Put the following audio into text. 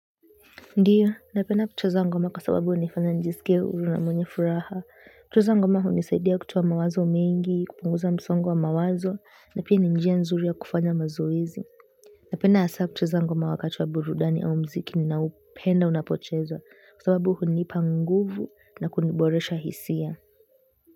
Ndiyo, napenda kucheza ngoma kwa sababu hunifanya nijisikie huru na mwenye furaha. Kucheza ngoma hunisaidia kutoa mawazo mengi, kupunguza msongo wa mawazo, na pia ni njia nzuri ya kufanya mazoezi. Napenda hasa kucheza ngoma wakati wa burudani au muziki ninaupenda unapochezwa kwa sababu hunipa nguvu na kuniboresha hisia.